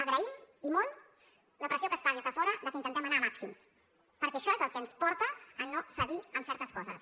agraïm i molt la pressió que es fa des de fora perquè intentem anar a màxims perquè això és el que ens porta a no cedir en certes coses